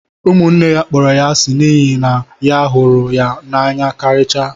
Ụmụnne ya kpọrọ ya asi n'ihi na nna ya hụrụ ya n'anya karịchaa